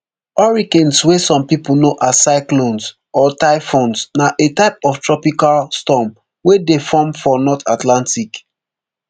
hurricanes wey some pipo know as cyclones or typhoons na a type of tropical storm wey dey form for north atlantic